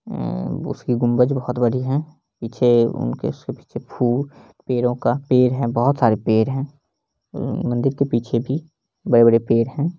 उसकी गुम्बज बहुत बड़ी हैं पीछे उनकी फूल पेड़ो का पेड़ हैं बहुत सारे पेड़ हैं मंदिर के पीछे भी बड़े बड़े पेड़ हैं।